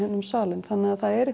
um salinn þannig að það er